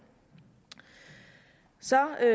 så jeg